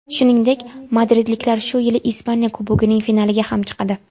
Shuningdek, madridliklar shu yili Ispaniya Kubogining finaliga ham chiqadi.